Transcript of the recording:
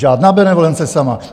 Žádná benevolence sama.